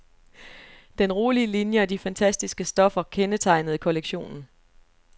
Den rolige linie og de fantastiske stoffer kendetegnede kollektionen.